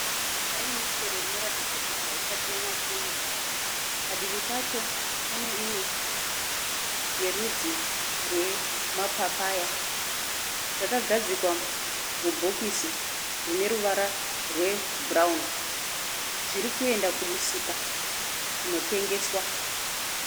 Pane michero inoratidza kuti haisati yanyatsoibva. Padivi pacho pane imwe yerudzi rwemapapaya. Zvakagadzikwa mubhokisi rine ruvara rwebhurawuni. Zviri kuenda kumusika kunotengeswa.